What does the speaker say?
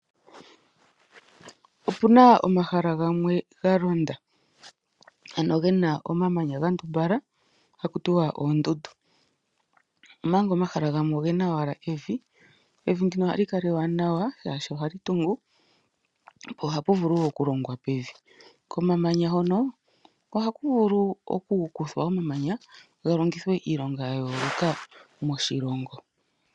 Opu na omahala gamwe ga londa ano gena omamanya ga ndumbala haku tiwa oondundu omanga omahala gamwe ogena owala evi, evi ndino oha li kala ewanawa shaashi oha li tungu po ohapu vulu woo oku longwa pevi , komamanya hono oha ku vulu oku kuthwa omamanya ga longithwe iilonga ya yooloka moshilongo.